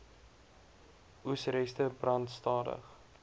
oesreste brand stadig